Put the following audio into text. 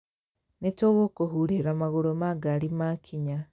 Nĩ tũgũkũhũrĩra magũrũ ma ngaari ma kinya